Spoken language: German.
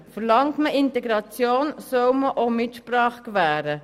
Verlangt man Integration, soll man auch Mitsprache gewähren.